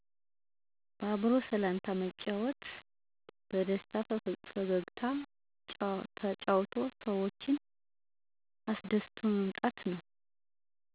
በአክብሮ ሰላምታ መሰጠት በደስታ በፈገግታ ተጫውቶ ሰዎችን አሰደስቶ መምጣት።